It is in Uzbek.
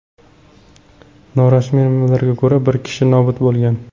Norasmiy manbalarga ko‘ra, bir kishi nobud bo‘lgan.